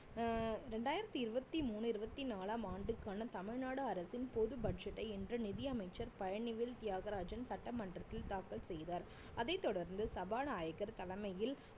அஹ் இரண்டாயிரத்தி இருவத்தி மூணு இருவத்தி நாலாம் ஆண்டுக்கான தமிழ்நாடு அரசின் பொது budget ஐ இன்று நிதி அமைச்சர் பழனிவேல் தியாகராஜன் சட்டமன்றத்தில் தாக்கல் செய்தார் அதைத் தொடர்ந்து சபாநாயகர் தலைமையில்